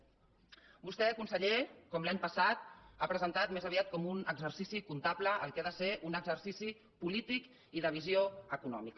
vostè conseller com l’any passat ha presentat més aviat com un exercici comptable el que ha de ser un exercici polític i de visió econòmica